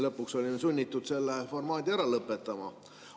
Lõpuks olime sunnitud selle formaadi ära lõpetama.